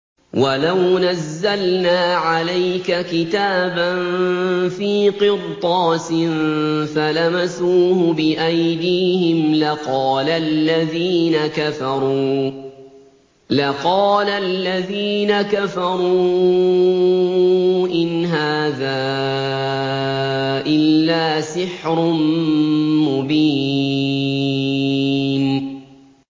وَلَوْ نَزَّلْنَا عَلَيْكَ كِتَابًا فِي قِرْطَاسٍ فَلَمَسُوهُ بِأَيْدِيهِمْ لَقَالَ الَّذِينَ كَفَرُوا إِنْ هَٰذَا إِلَّا سِحْرٌ مُّبِينٌ